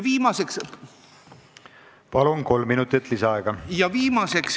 Palun, kolm minutit lisaaega!